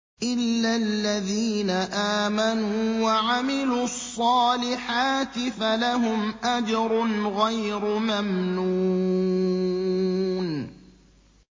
إِلَّا الَّذِينَ آمَنُوا وَعَمِلُوا الصَّالِحَاتِ فَلَهُمْ أَجْرٌ غَيْرُ مَمْنُونٍ